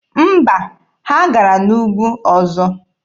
Mba, ha gara n'ugwu ọzọ.